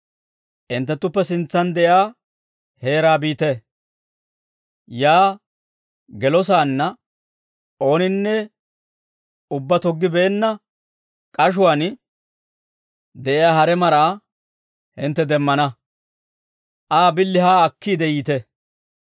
«Hinttenttuppe sintsan de'iyaa heeraa biite; yaa gelosaanna ooninne ubbaa toggibeenna k'ashuwaan de'iyaa hare maraa hintte demmana; Aa billi haa akkiide yiite.